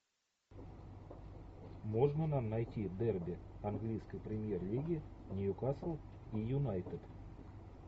можно нам найти дерби английской премьер лиги ньюкасл и юнайтед